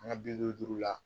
An ka bi duuru duuru la